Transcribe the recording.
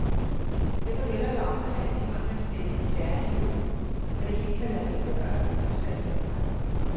Derfor gælder det om at have de håndværksmæssige færdigheder, da det ikke kan lade sig gøre at øve sig i forvejen.